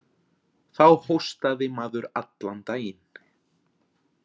Þá hóstaði maður allan daginn